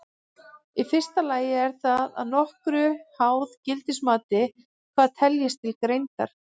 Í fyrsta lagi er það að nokkru háð gildismati hvað teljist til greindar.